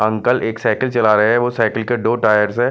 Uncle एक cycle चला रहे हैं वो साइकिल के दो टायर्स हैं।